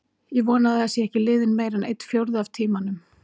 Ég vona að það sé ekki liðinn meira en einn fjórði af tímanum.